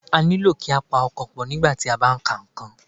A nílò kí a pa ọkàn pọ̀, nígbà tí a bá ń ka nǹkan